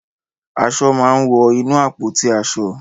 Aṣọ máa ń wọ inú àpótí aṣọ.